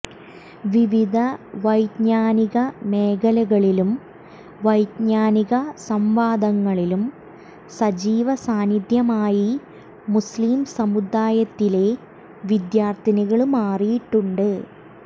വിവിധ വൈജ്ഞാനിക മേഖലകളിലും വൈജ്ഞാനിക സംവാദങ്ങളിലും സജീവ സാന്നിധ്യമായി മുസ്ലിം സമുദായത്തിലെ വിദ്യാര്ഥികള് മാറിയിട്ടുണ്ട്